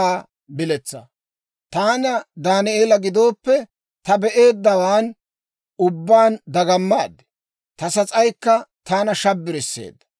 «Taanna Daaneela gidooppe, ta be'eeddawaan ubbaan dagamaad; ta sas'aykka taana shabbarseedda.